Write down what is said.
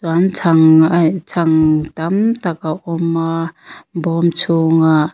chuan chhang a in chhang tam tak a awm a bawm chhungah--